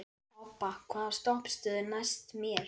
Obba, hvaða stoppistöð er næst mér?